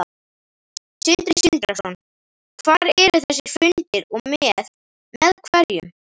Sindri Sindrason: Hvar eru þessir fundir og með, með hverjum?